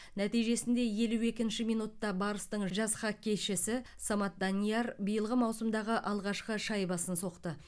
нәтижесінде елу екінші минутта барыстың жас хоккейшісі самат данияр биылғы маусымдағы алғашқы шайбасын соқты